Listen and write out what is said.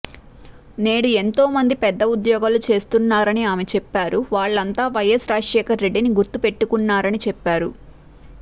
నేడు ఎంతో మంది పెద్ద ఉద్యోగాలు చేస్తున్నారని ఆమె చెప్పారు వాళ్లంతా వైఎస్ రాజశేఖర రెడ్డిని గుర్తు పెట్టుకున్నారని చెప్పారు